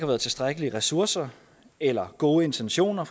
været tilstrækkelige ressourcer eller gode intentioner